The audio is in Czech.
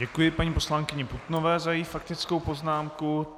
Děkuji paní poslankyni Putnové za její faktickou poznámku.